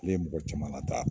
Ne ye mɔgɔ caman lataa